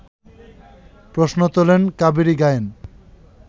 প্রশ্ন তোলেন কাবেরী গায়েন